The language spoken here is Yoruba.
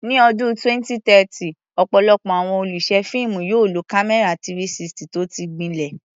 Ní ọdún 2030, ọ̀pọ̀lọpọ̀ àwọn olùṣe fíìmù yóò lo kámẹ́rà 360 tó ti gbilẹ̀.